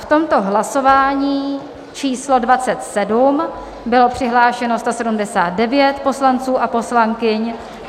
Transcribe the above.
V tomto hlasování číslo 27 bylo přihlášeno 179 poslanců a poslankyň.